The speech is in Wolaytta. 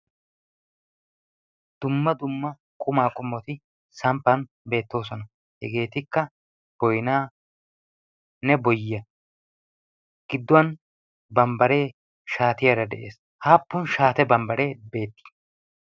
dumma dumma qumaa qomoti kumidi samppan beetoosona. hegeetikka boynaanne boyyiya. giduwan bambaree shaatiyaara des. aapun bambaree shaatiyaara beetii?